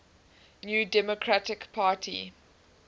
new democratic party